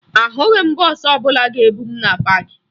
Ahụghị m bọọsụ ọbụla ga-ebu m na paakị